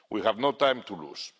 We have no time to lose.